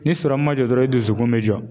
Ni ma jɔ dɔrɔn i dusukun bɛ jɔ.